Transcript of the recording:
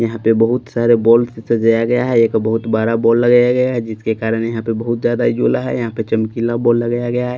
यहां पे बहुत सारे बॉल सजाया गया है एक बहुत बड़ा बॉल लगाया गया है जिसके कारण यहां पे बहुत ज्यादा उजेला है यहां पे चमकीला बॉल लगाया गया है।